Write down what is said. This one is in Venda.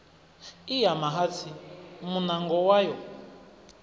i ya mahatsi muṋango wayo